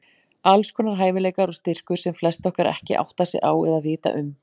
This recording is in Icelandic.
Alls konar hæfileikar og styrkur sem flest okkar ekki átta sig á eða vita um.